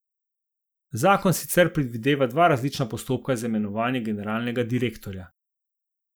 Zakon sicer predvideva dva različna postopka za imenovanje generalnega direktorja.